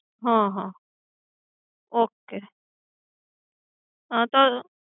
હમ okay હા તો